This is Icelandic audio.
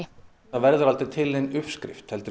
það verður aldrei til nein uppskrift heldur